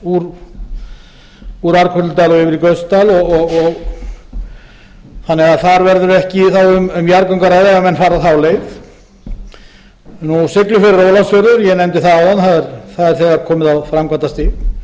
úr arnkötludal og yfir í gautsdal þannig að þar verður ekki þá um jarðgöng að ræða ef menn fara þá leið siglufjörður ólafsfjörður ég nefndi það áðan það er þegar komið á framkvæmdastig